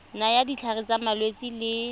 nayang ditlhare tsa malwetse le